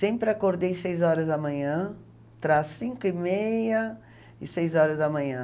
Sempre acordei às seis horas da manhã, trás cinco e meia e seis horas da manhã.